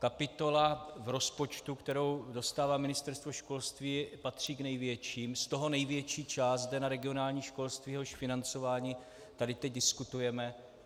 Kapitola v rozpočtu, kterou dostává Ministerstvo školství, patří k největší, z toho největší část jde na regionální školství, jehož financování tady teď diskutujeme.